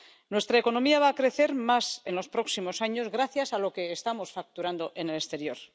Nuestra economía va a crecer más en los próximos años gracias a lo que estamos facturando en el exterior.